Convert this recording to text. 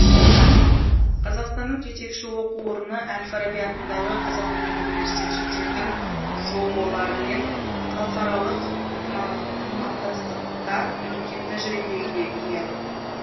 қазақстанның жетекші оқу орны әл фараби атындағы қазақ ұлттық университеті шетелдік жоо лармен халықаралық ынтымақтастықта үлкен тәжірибеге ие